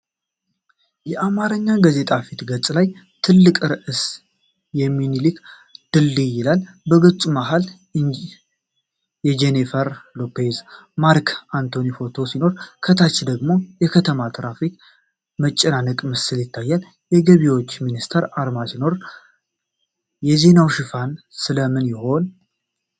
የአማርኛ ጋዜጣ የፊት ገጽ ሲሆን፣ ትልቁ ርዕስ 'የሚኒልክ ድልድይ' ይላል። በገጹ መሃል የጄኒፈር ሎፔዝና ማርክ አንቶኒ ፎቶ ሲኖር፣ ከታች ደግሞ የከተማ የትራፊክ መጨናነቅ ምስል ይታያል። የገቢዎች ሚኒስቴር አርማ ሲኖረው፣ የዜናው ሽፋን ስለ ምን ይሆን?